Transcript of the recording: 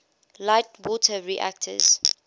light water reactors